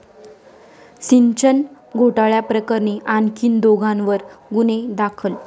सिंचन घोटाळ्याप्रकरणी आणखीन दोघांवर गुन्हे दाखल!